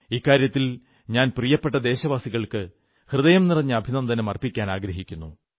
ഇക്കാര്യത്തിൽ ഞാൻ പ്രിയപ്പെട്ട ദേശവാസികൾക്ക് ഹൃദയംനിറഞ്ഞ അഭിനനന്ദനം അർപ്പിക്കാനാഗ്രഹിക്കുന്നു